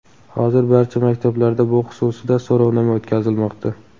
Hozir barcha maktablarda bu xususida so‘rovnoma o‘tkazilmoqda.